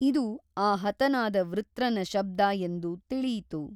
ಇದು ಆ ಹತನಾದ ವೃತ್ರನ ಶಬ್ದ ಎಂದು ತಿಳಿಯಿತು.